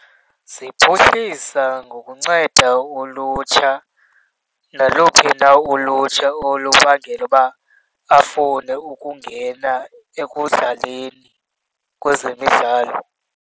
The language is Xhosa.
Ziphuhlisa ngokunceda ulutsha, naluphi na ulutsha olubangela uba afune ukungena ekudlaleni kwezemidlalo.